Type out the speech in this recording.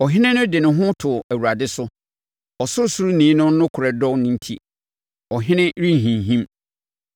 Ɔhene no de ne ho to Awurade so; Ɔsorosoroni no nokorɛ dɔ no enti, Ɔhene renhinhim.